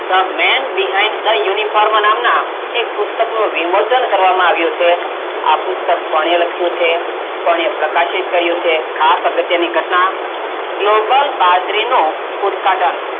the men behind the uniform નામનાં એક પુસ્તકનું વિમોચન કરવામાં આવ્યું છે. આ પુસ્તક કોણે લખ્યું છે, કોણે પ્રકાશિત કર્યું છે, ખાસ અગત્યની ઘટનાં global બાજરીનું ઉદ્દગાટન.